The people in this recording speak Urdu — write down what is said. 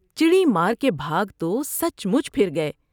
چڑی مار کے بھاگ تو سچ مچ پھر گئے ۔